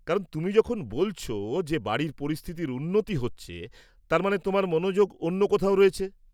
কারণ তুমি যখন বলছ যে বাড়ির পরিস্থিতির উন্নতি হচ্ছে, তার মানে তোমার মনোযোগ অন্য কোথাও রয়েছে।